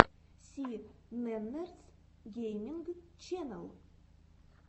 си нэннерс гейминг ченнел